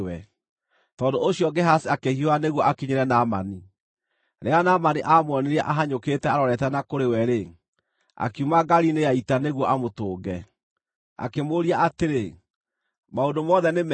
Tondũ ũcio Gehazi akĩhiũha nĩguo akinyĩre Naamani. Rĩrĩa Naamani aamuonire ahanyũkĩte arorete na kũrĩ we-rĩ, akiuma ngaari-inĩ ya ita nĩguo amũtũnge. Akĩmũũria atĩrĩ, “Maũndũ mothe nĩ mega?”